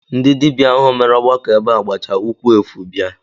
Ndị dibịa ahụ mere ọgbakọ ebe a gbacha ụkwụ efu bịa